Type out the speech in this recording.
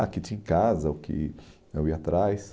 Ah o que tinha em casa, o que eu ia atrás.